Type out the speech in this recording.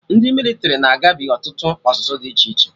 Ndị mịlịtrị na-agabi ọtụtụ ọzụzụ dị iche iche